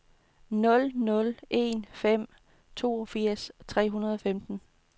nul nul en fem toogfirs tre hundrede og femten